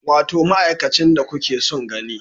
Wato ma'aikacin da kuke son gani